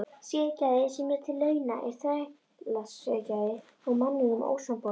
Siðgæði sem sér til launa er þrælasiðgæði og manninum ósamboðið.